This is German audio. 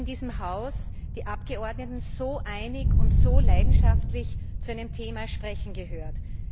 Selten habe ich in diesem Haus die Abgeordneten so einig und so leidenschaftlich zu einem Thema sprechen gehört.